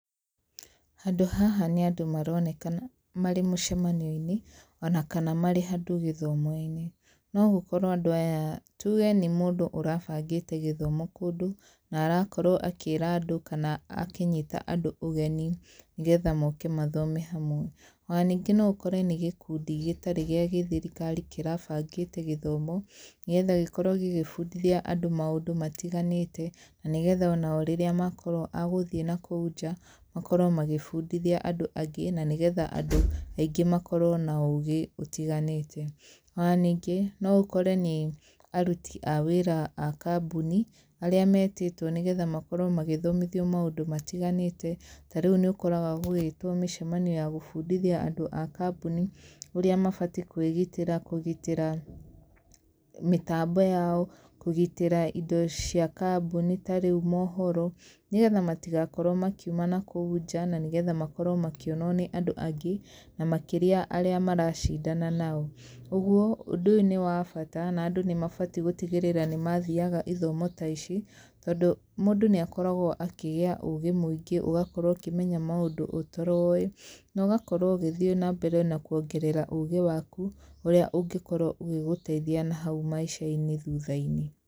Handũ haha nĩ andũ maronekana marĩ mũcemanio-inĩ, ona kana marĩ handũ gĩthomo-inĩ. No gũkorwo andũ aya tuge nĩ mũndũ ũrabangĩte gĩthomo kũndũ, na arakorwo akĩĩra andũ kana akĩnyita andũ ũgeni nĩgetha moke mathome hamwe. Ona ningĩ no ũkore nĩ gĩkundi gĩtarĩ gĩa gĩthirikari kĩrabangĩte gĩthomo, nĩgetha gĩkorwo gĩgĩbundithia andũ maũndũ matiganĩte, na nĩgetha ona o rĩrĩa makorwo a gũthiĩ nakũu nja, makorwo magĩbundithia andũ angĩ, na nĩgetha andũ aingĩ makorwo na ũũgĩ ũtiganĩte. Ona ningĩ, no ũkore nĩ aruti a wĩra a kambuni, arĩa metĩtwo nĩgetha makorwo magĩthomithio maũndũ matiganĩte. Ta rĩu nĩ ũkoraga gũgĩtwo mĩcemanio ya gũbundithia andũ a kambuni ũrĩa mabati kwĩgitĩra, kũgitĩra mĩtambo yao, kũgitĩra indo cia kambuni ta rĩu mohoro. Nĩgetha matigakorwo makiuma nakũu nja, na nĩgetha makorwo makĩonwo nĩ andũ angĩ, na makĩria arĩa maracindana nao. Ũguo, ũndũ ũyũ nĩ wa bata, na andũ nĩ mabati gũtigĩrĩra nĩ mathiaga ithomo ta ici, tondũ mũndũ nĩ akoragwo akĩgĩa ũũgĩ mũingĩ, ũgakorwo ũkĩmenya maũndũ ũtaroĩ. Na ũgakorwo ũgĩthiĩ na mbere na kuongerera ũũgĩ waku, ũrĩa ũngĩkorwo ũgĩgũteithia nahau maica-inĩ thutha-inĩ.